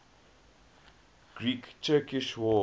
great turkish war